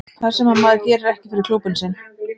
Það sem að maður gerir ekki fyrir klúbbinn sinn.